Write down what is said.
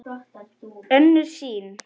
Önnur sýn